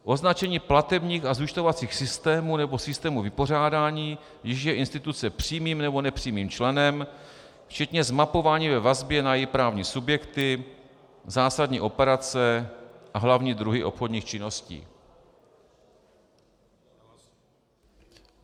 Označení platebních a zúčtovacích systémů nebo systémů vypořádání, jichž je instituce přímým nebo nepřímým členem, včetně zmapování ve vazbě na její právní subjekty, zásadní operace a hlavní druhy obchodních činností.